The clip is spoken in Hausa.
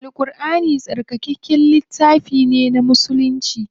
Al Ƙurʼani tsarkakakken littafi ne na musulci.